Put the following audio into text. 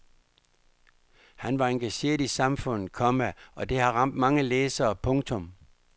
Han var engageret i samfundet, komma og det har ramt mange læsere. punktum